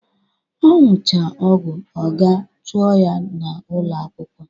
Ọ nucha ogu, a ga-achụ ya na'ulọ akwụkwọ.